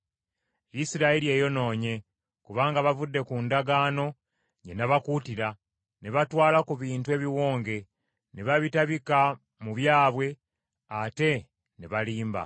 Isirayiri eyonoonye kubanga bavudde ku ndagaano gye nabakuutira, ne batwala ku bintu ebiwonge, ne babitabika mu byabwe ate ne balimba.